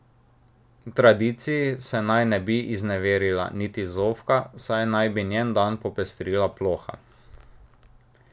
Tradiciji se naj ne bi izneverila niti Zofka, saj naj bi njen dan popestrila ploha.